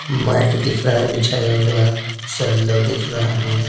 Mat दिख रहा है बिछाया हुआ सैंडल दिख रहा है।